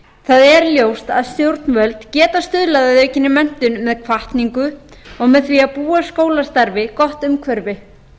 það er ljóst að stjórnvöld geta stuðlað að aukinni menntun með hvatningu og með því að búa skólastarfið gott umhverfi